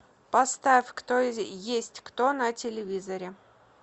поставь кто есть кто на телевизоре